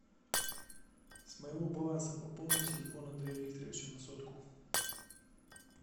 с моего баланса пополни телефон андрея викторовича на сотку